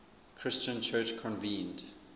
christian church convened